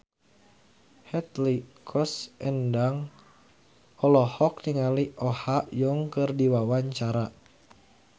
Hetty Koes Endang olohok ningali Oh Ha Young keur diwawancara